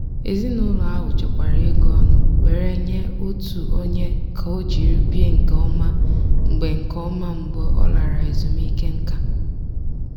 ezinụlọ ahụ chekwara ego ọnụ were nye otu onye ka o jiri bie nke ọma mgbe nke ọma mgbe ọ lara ezumike nká.